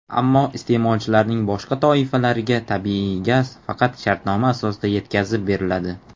Ammo iste’molchilarning boshqa toifalariga tabiiy gaz faqat shartnoma asosida yetkazib beriladi.